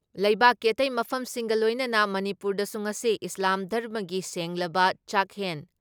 ꯂꯩꯕꯥꯛꯀꯤ ꯑꯇꯩ ꯃꯐꯝꯁꯤꯡꯒ ꯂꯣꯏꯅꯅ ꯃꯅꯤꯄꯨꯔꯗꯁꯨ ꯉꯁꯤ ꯏꯁꯂꯥꯝ ꯙꯔꯃꯒꯤ ꯁꯦꯡꯂꯕ ꯆꯥꯛꯍꯦꯟ